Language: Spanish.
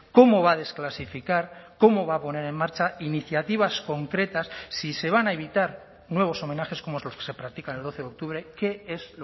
cómo va a desclasificar cómo va a poner en marcha iniciativas concretas si se van a evitar nuevos homenajes como los que se practican el doce de octubre qué es